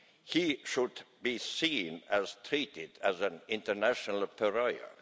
He should be seen and treated as an international pariah.